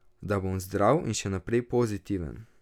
Da bom zdrav in še naprej pozitiven.